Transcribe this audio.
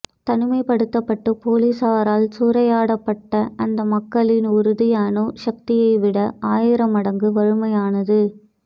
தனிமைப்படுத்தப்பட்டு போலீசாரால் சூறையாடப்பட்ட அந்தமக்களின் உறுதி அணு சக்தியைவிட ஆயிரம்மடங்கு வலிமையானது